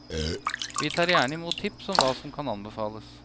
Vi tar gjerne i mot tips om hva som kan anbefales.